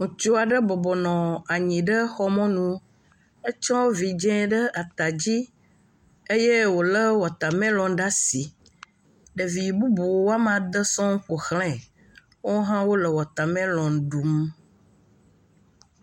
Ŋutsu aɖe bɔbɔnɔ anyi ɖe xɔ mɔnu. Etsɔ vidzia ɖe ata dzi eye wole watmelɔni ɖe asi. Ɖevi bubu wɔame ade sɔŋ ƒoxlae wohã wo le watamelɔni ɖum.